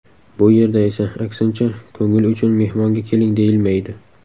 Bu yerda esa aksincha ko‘ngil uchun mehmonga keling deyilmaydi.